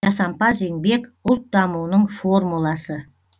жасампаз еңбек ұлт дамуының формуласы